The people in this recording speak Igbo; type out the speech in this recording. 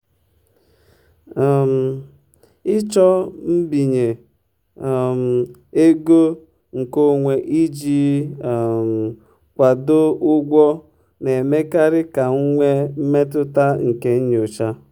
um ịchọ mbinye um ego nkeonwe iji um kwado ụgwọ na-emekarị ka m nwee mmetụta nke nyocha.